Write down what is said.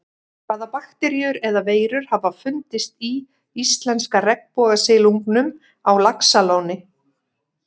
Hvaða bakteríur eða veirur hafa fundist í íslenska regnbogasilungnum á Laxalóni?